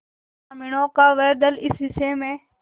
ग्रामीणों का वह दल इस विषय में